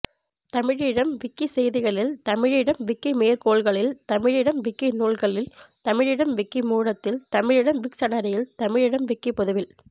தமிழீழம் விக்கிசெய்திகளில் தமிழீழம் விக்கிமேற்கோள்களில் தமிழீழம் விக்கிநூல்களில் தமிழீழம் விக்கிமூலத்தில் தமிழீழம் விக்சனரியில் தமிழீழம் விக்கிப்பொதுவில்